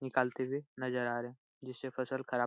निकालते हुए नजर आ रहे जिससे फसल खराब --